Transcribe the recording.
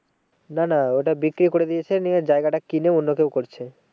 না না ওটা বিক্রি করে দিয়েছে নিয়ে জায়গাটা কিনে অন্য কেউ করছে।